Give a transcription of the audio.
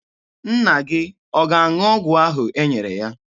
Nna gị ọ ga-aṅụ ọgwụ ahụ e nyere ya?